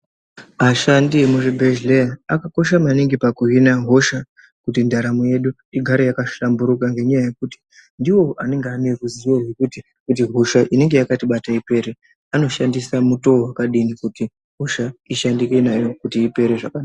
Ashandi emuzvibhedhleya akakosha maningi pakuhina hosha kuti ndaramo yedu igare yakahlamburuka. Ngenyaya yekuti ndivo anenge ane ruzivo rwekuti kuti hosha inenge yakatibata ipere. Anoshandisa mutoo wakadini kuti hosha ishandike nayo kuti ipere zvakanaka.